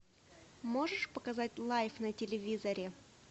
можешь показать лайф на телевизоре